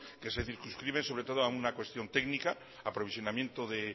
que se circunscribe sobre todo a una cuestión técnica aprovisionamiento de